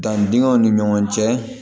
Danni dingɛw ni ɲɔgɔn cɛ